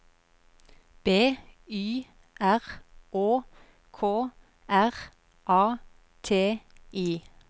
B Y R Å K R A T I